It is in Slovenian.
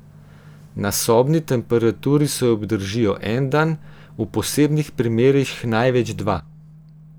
Na sobni temperaturi se obdržijo en dan, v posebnih primerih največ dva.